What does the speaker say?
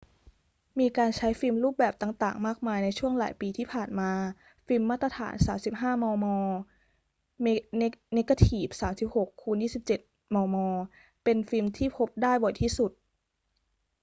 มีการใช้ฟิล์มรูปแบบต่าง ๆ มากมายในช่วงหลายปีที่ผ่านมา ฟิล์มมาตรฐาน 35 มม. เนกาทีฟ 36 x 24 มม. เป็นฟิล์มที่พบได้บ่อยที่สุด